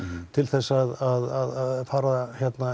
til að fara